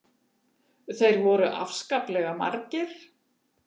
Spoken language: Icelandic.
Þeir voru svo afskaplega margir.